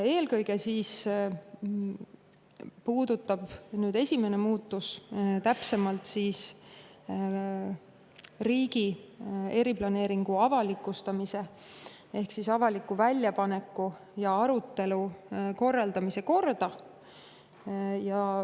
Eelkõige puudutab esimene muudatus täpsemalt riigi eriplaneeringu avalikustamise ehk avaliku väljapaneku ja arutelu korraldamise korda.